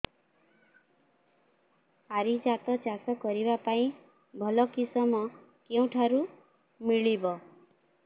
ପାରିଜାତ ଚାଷ କରିବା ପାଇଁ ଭଲ କିଶମ କେଉଁଠାରୁ ମିଳିବ